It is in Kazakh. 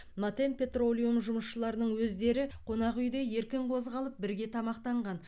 матен петролиум жұмысшыларының өздері қонақүйде еркін қозғалып бірге тамақтанған